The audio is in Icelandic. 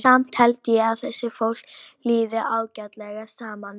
Samt held ég að þessu fólki líði ágætlega saman.